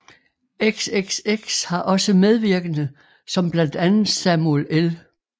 XXX har også medvirkende som blandt andet Samuel L